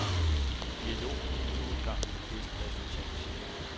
Dialog giver nu en gang de bedste resultater, siger han.